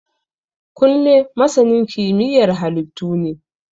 Kunle masanin kimiyyar halittu ne